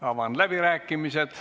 Avan läbirääkimised.